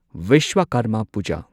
Vishwakarma Puja